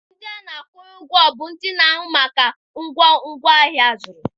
Ndị a na-akwụnye ụgwọ bụ ndị na-ahụ maka ịnata ugwo ngwaahịa a zụrụ.